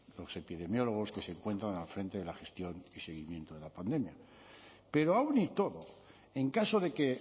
los epidemiólogos que se encuentran al frente de la gestión y seguimiento de la pandemia pero aun y todo en caso de que